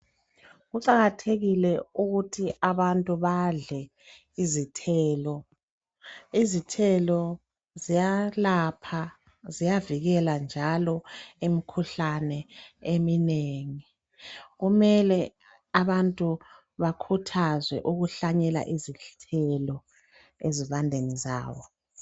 Kuqakathekile ukuthi abantu badle izithelo. Izithelo ziyalapha ziyavikela njalo imikhuhlane eminengi kumele abantu bakhuthazwe ukuhlanyela izithelo ezivandeni zabo.